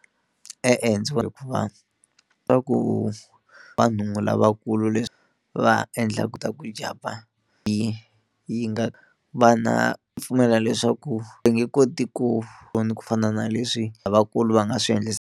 E-e ndzi hikuva swa ku vanhu lavakulu leswi va endlaka ta ku jampa hi yi nga vana pfumela leswaku va nge koti ku vona ku fana na leswi lavakulu va nga swi .